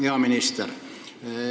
Hea minister!